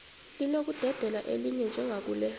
linokudedela elinye njengakule